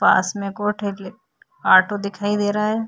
पास में ऑटो दिखाई दे रहा है।